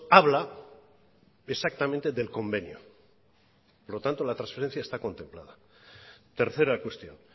habla exactamente del convenio por lo tanto la transferencia está contemplada tercera cuestión